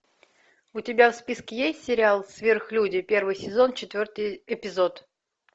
у тебя в списке есть сериал сверхлюди первый сезон четвертый эпизод